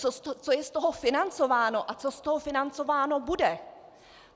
Co je z toho financováno a co z toho financováno bude?